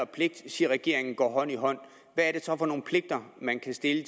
pligt siger regeringen går hånd i hånd hvad er det så for nogle pligter man kan stille